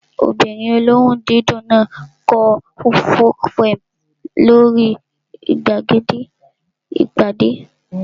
Ọmọbìnrin olóhùn dídùn náà kọ folk poem lórí gbàgede ìpàdé